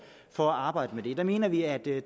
for at arbejde med det der mener vi at vi